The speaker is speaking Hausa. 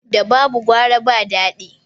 Da babu gwara ba daɗi